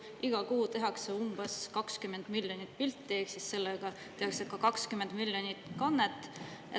Iga kuu tehakse umbes 20 miljonit pilti, ehk siis sellega tehakse ka 20 miljonit kannet.